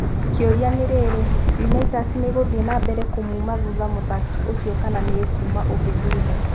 Kĩũria rĩu nĩriri, Unaitas nĩĩgũthiĩ nambere kũmuma thutha mũthaki ũcio kana nĩĩkuuma ũngĩ thutha?